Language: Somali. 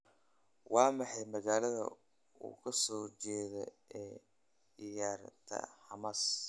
waa maxay magaalada uu kasoo jeedo ee tiyaatarka bomas